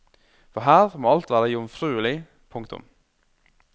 For her må alt være jomfruelig. punktum